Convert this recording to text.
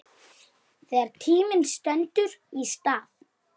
Þegar tíminn stendur í stað